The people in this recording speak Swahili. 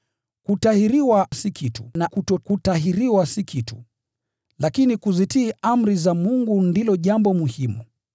Kutahiriwa si kitu, na kutokutahiriwa si kitu. Lakini kuzitii amri za Mungu ndilo jambo muhimu.